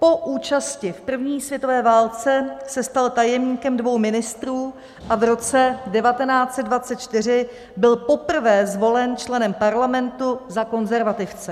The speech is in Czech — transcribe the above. Po účasti v první světové válce se stal tajemníkem dvou ministrů a v roce 1924 byl poprvé zvolen členem parlamentu za konzervativce.